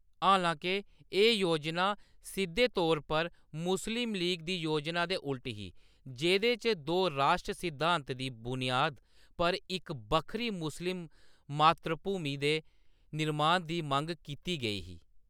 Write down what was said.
हालांके, एह्‌‌ योजना सिद्धे तौर पर मुस्लिम लीग दी योजना दे उल्ट ही, जेह्दे च दो राश्ट्र सिद्धांत दी बुनियाद पर इक बक्खरी मुस्लिम मातृभूमि दे निर्माण दी मंग कीती गेई ही।